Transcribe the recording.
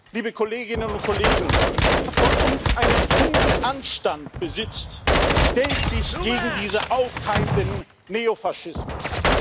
Liebe Kolleginnen und Kollegen, wer von uns einen Funken Anstand besitzt, stellt sich gegen diesen aufkeimenden Neofaschismus.